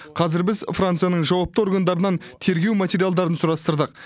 қазір біз францияның жауапты органдарынан тергеу материалдарын сұрастырдық